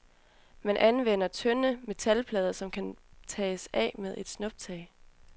Man anvender tynde metalplader, som kan tages af med et snuptag.